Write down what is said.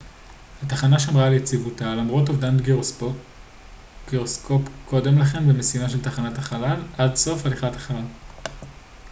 התחנה שמרה על יציבותה למרות אובדן גירוסקופ קודם לכן במשימה של תחנת החלל עד סוף הליכת החלל